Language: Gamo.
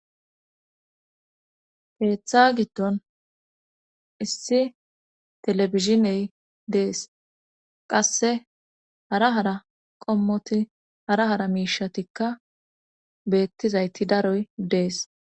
Teeththa giddon issi telebiziney dees qasse hara hara qommoti hara hara miishatikka beettizayti daroy dees.